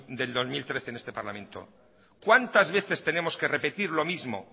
del dos mil trece en este parlamento cuántas veces tenemos que repetir lo mismo